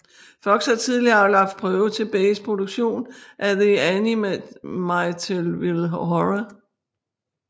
Fox havde tidligere aflagt prøve til Bays produktion af The Amityville Horror